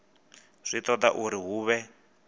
zwi toda uri hu vhe